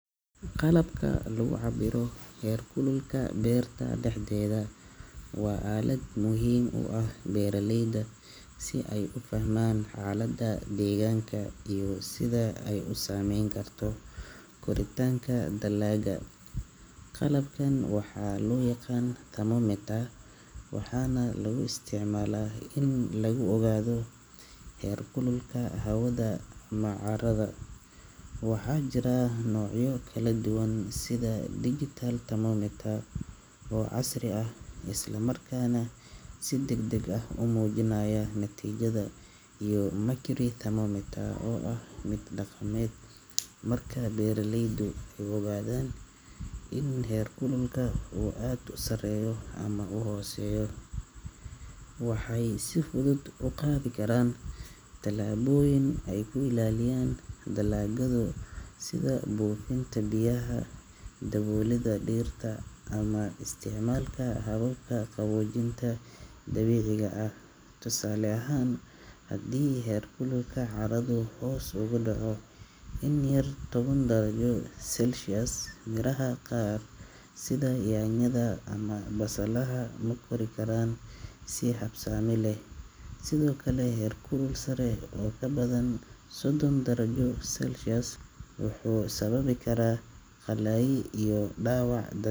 Qalabka lagu cabbiro heer kulka beerta dhexdeeda waa aalad muhiim u ah beeraleyda si ay u fahmaan xaaladda deegaanka iyo sida ay u saameyn karto koritaanka dalagga. Qalabkan waxaa loo yaqaan thermometer, waxaana lagu isticmaalaa in lagu ogaado heer kulka hawada ama carrada. Waxaa jira noocyo kala duwan sida digital thermometer oo casri ah, isla markaana si degdeg ah u muujinaya natiijada, iyo mercury thermometer oo ah mid dhaqameed. Marka beeraleydu ay ogaadaan in heerkulka uu aad u sareeyo ama u hooseeyo, waxay si fudud u qaadi karaan tallaabooyin ay ku ilaaliyaan dalaggooda, sida buufinta biyaha, daboolidda dhirta, ama isticmaalka hababka qaboojinta dabiiciga ah. Tusaale ahaan, haddii heerkulka carradu hoos ugu dhaco in ka yar toban darajo Celsius, miraha qaar sida yaanyada ama basalaha ma kori karaan si habsami leh. Sidoo kale, heerkul sare oo ka badan sodon darajo Celsius wuxuu sababi karaa qallayl iyo dhaawac.